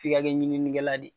F'i ka kɛ ɲininkɛla de ye